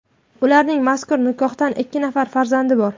Ularning mazkur nikohdan ikki nafar farzandi bor.